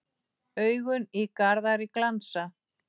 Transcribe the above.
Augun í Garðari glansa.